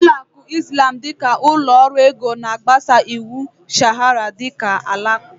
Ụlọ akụ Izlam dịka ụlọ ọrụ ego na-agbaso iwu Sharịa nke ndị Alakụba